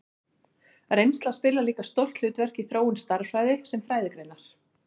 Reynsla spilar líka stórt hlutverk í þróun stærðfræði sem fræðigreinar.